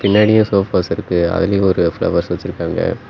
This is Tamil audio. நிறைய சோஃபாஸ் இருக்கு அதுலயும் ஒரு ஃப்ளவர்ஸ் வச்சிருக்காங்க.